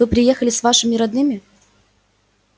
вы приехали с вашими родными